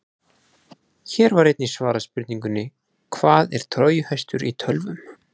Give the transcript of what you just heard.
Hér var einnig svarað spurningunni: Hvað er trójuhestur í tölvum?